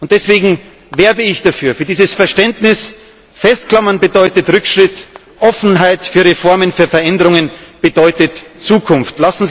Deswegen werbe ich für dieses Verständnis Festklammern bedeutet Rückschritt, Offenheit für Reformen, für Veränderungen bedeutet Zukunft.